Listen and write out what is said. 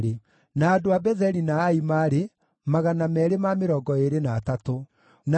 Nao aini a nyĩmbo: arĩa maarĩ a njiaro cia Asafu maarĩ 128.